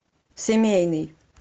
семейный